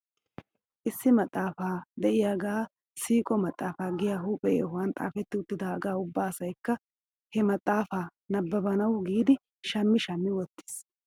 Issi maxaafa de'iyaagee siiqo maxaafaa giyaa huuphe yohuwan xaafetti uttidaagaa ubba asaykka he maxaafaa nabbabanaw giidi shammi shammi wottis .